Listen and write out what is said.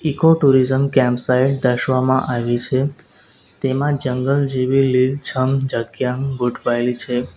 Eco tourism camp site દર્શવવામાં આયવી છે તેમાં જંગલ જેવી લીલછમ જગ્યા ગોઠવાયેલી છે.